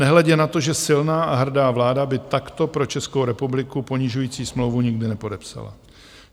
Nehledě na to, že silná a hrdá vláda by takto pro Českou republiku ponižující smlouvu nikdy nepodepsala.